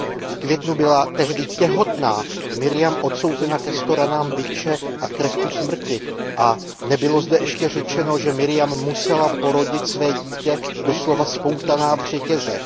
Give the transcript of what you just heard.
V květnu byla tehdy těhotná Marjam odsouzena ke sto ranám bičem a k trestu smrti a nebylo zde ještě řečeno, že Marjam musela porodit své dítě doslova spoutaná v řetězech.